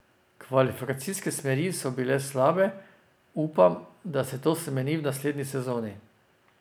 Kvalifikacijske smeri so bile slabe, upam, da se to spremeni v naslednji sezoni.